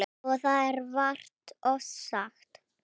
Og það er vart ofsagt.